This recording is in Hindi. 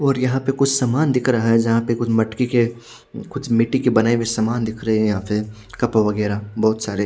और यहां पे कुछ समान दिख रहा है जहां पे कुछ मटकी के कुछ मिट्टी के बनाए हुए समान दिख रहे हैं यहां पे कप वगैरह बहुत सारे--